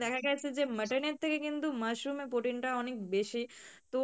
দেখা গেছে যে mutton এর থেকে কিন্তু mushroom এ protein টা অনেক বেশি তো